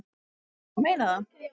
En ég meina það.